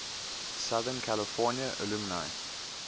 southern california alumni